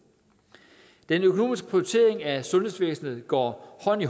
den økonomiske prioritering af sundhedsvæsenet går hånd i